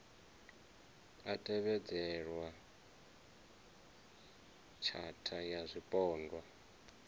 a tevhedzelwa tshatha ya zwipondwa